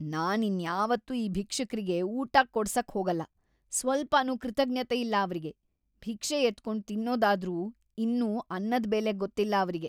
ನಾನ್ ಇನ್ಯಾವತ್ತೂ‌ ಈ ಭಿಕ್ಷುಕ್ರಿಗೆ ಊಟ ಕೊಡ್ಸಕ್‌ ಹೋಗಲ್ಲ, ಸ್ವಲ್ಪನೂ ಕೃತಜ್ಞತೆ ಇಲ್ಲ ಅವ್ರಿಗೆ, ಭಿಕ್ಷೆ ಎತ್ಕೊಂಡ್ ತಿನ್ನೋದಾದ್ರೂ ಇನ್ನೂ ಅನ್ನದ್‌ ಬೆಲೆ ಗೊತ್ತಿಲ್ಲ ಅವ್ರಿಗೆ.